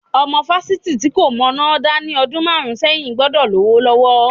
Ọmọ fásitì tí kò mọná dá ní ọdún márùn-ún sẹ́yìn gbọ́dọ̀ lówó lọ́wọ́.